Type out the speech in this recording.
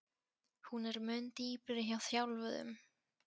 Hún er mun dýpri hjá þjálfuðum.